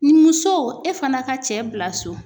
Ni muso e fana ka cɛ bila so